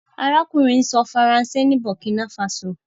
arákùnrin sọ Faransé ní burkina faso.